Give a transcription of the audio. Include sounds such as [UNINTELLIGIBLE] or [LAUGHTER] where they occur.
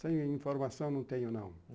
[UNINTELLIGIBLE] informação não tenho, não.